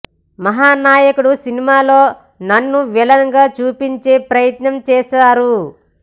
మహానాయకుడు సినిమాలో నన్ను విలన్ గా చూపించే ప్రయత్నం చేశారు